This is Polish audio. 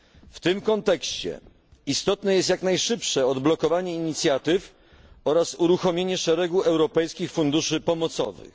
W tym kontekście istotne jest jak najszybsze odblokowanie inicjatyw oraz uruchomienie szeregu europejskich funduszy pomocowych.